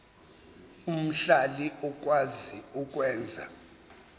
omhlali okwazi ukwenza